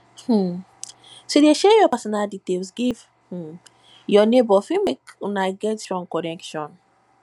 um to de share your personal details give um your neighbor fit make una get stronger connection